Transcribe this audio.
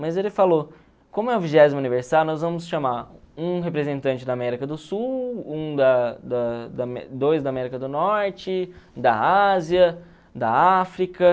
Mas ele falou, como é o vigésimo aniversário, nós vamos chamar um representante da América do Sul, um da da dois da América do Norte, da Ásia, da África.